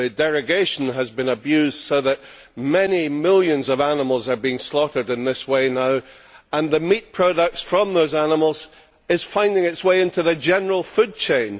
The derogation has been abused, so that many millions of animals are being slaughtered in this way now and the meat products from those animals are finding their way into the general food chain.